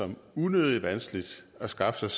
som unødigt vanskeligt at skaffe sig